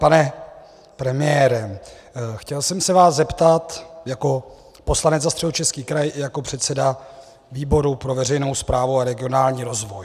Pane premiére, chtěl jsem se vás zeptat jako poslanec za Středočeský kraj i jako předseda výboru pro veřejnou správu a regionální rozvoj.